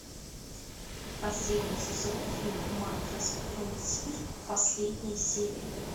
последний сезон фильм макросфронтир последняя серия